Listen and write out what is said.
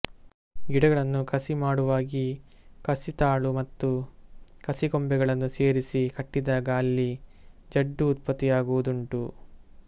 ಗಿಡಗಳನ್ನು ಕಸಿ ಮಾಡುವಾಗಿ ಕಸಿತಾಳು ಮತ್ತು ಕಸಿಕೊಂಬೆಗಳನ್ನು ಸೇರಿಸಿ ಕಟ್ಟಿದಾಗ ಅಲ್ಲಿ ಜಡ್ಡು ಉತ್ಪತ್ತಿಯಾಗುವುದುಂಟು